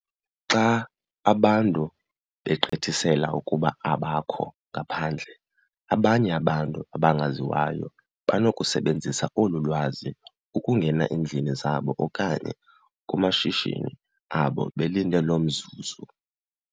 Xa abantu begqithisela ukuba abakho ngaphandle, abanye abantu abangaziwayo banokusebenzisa olu lwazi ukungena eendlini zabo okanye kumashishini abo belinde loo mzuzu.